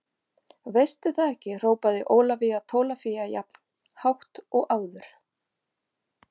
Veistu það ekki hrópaði Ólafía Tólafía jafn hátt og áður.